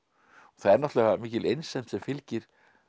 það er náttúrulega mikil einsemd sem fylgir